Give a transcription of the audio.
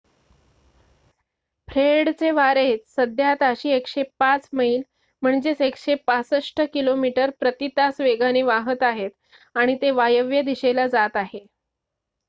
फ्रेडचे वारे सध्या ताशी 105 मैल 165 किमी/तास वेगाने वाहात आहेत आणि ते वायव्य दिशेला जात आहे